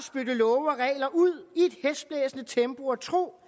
love og regler ud i tempo og tro